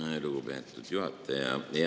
Aitäh, lugupeetud juhataja!